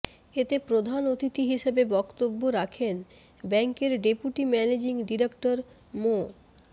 এতে প্রধান অতিথি হিসেবে বক্তব্য রাখেন ব্যাংকের ডেপুটি ম্যানেজিং ডিরেক্টর মো